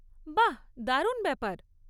বাহ্, দারুণ ব্যাপার।